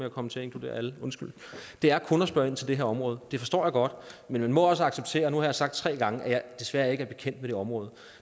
at komme til at inkludere alle undskyld er kun at spørge ind til det her område det forstår jeg godt men man må også acceptere og nu har jeg sagt det tre gange at jeg desværre ikke er bekendt med det område